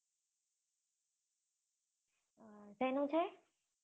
શેનું છે.